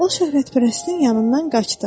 O şöhrətpərəstin yanından qaçdı.